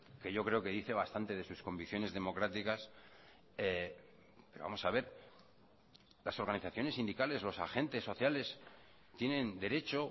que yo creo que dice bastante de sus convicciones democráticas vamos a ver las organizaciones sindicales los agentes sociales tienen derecho